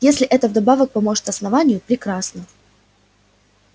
если это вдобавок поможет основанию прекрасно